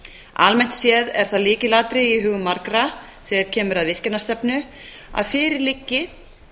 almennt séð er það lykilatriði í hugum margra þegar kemur að virkjanastefnu að fyrir liggi